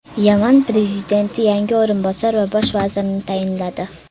Yaman prezidenti yangi o‘rinbosar va bosh vazirni tayinladi.